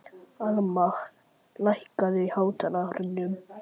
Almar, lækkaðu í hátalaranum.